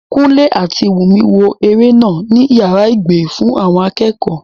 Kúnlé àti Wùnmí wo eré náà ní yàrá ìgbé fún akẹ́kọ̀ọ́